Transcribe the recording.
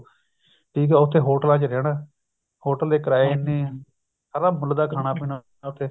ਠੀਕ ਆ ਉੱਥੇ ਹੋਟਲਾਂ ਚ ਰਹਿਣਾ ਹੋਟਲ ਦੇ ਕਰਾਏ ਸਾਰਾ ਮੁੱਲ ਦਾ ਪੀਣਾ ਉੱਥੇ